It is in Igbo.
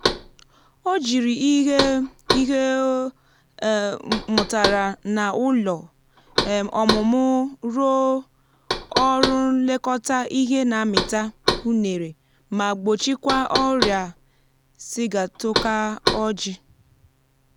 o jiri ihe ihe o um mụtara nà ụlọ um ọmụmụ rụọ um ọrụ nlekọta ihe nà amita unere ma gbochikwa ọrịa sigatoka ojịị